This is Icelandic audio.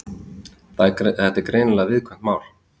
Þetta er greinilega viðkvæmt mál